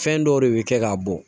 Fɛn dɔw de bɛ kɛ k'a bɔ